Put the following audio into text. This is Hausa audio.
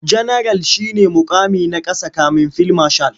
Janaral shi ne muƙami na ƙasa kafin fil mashal.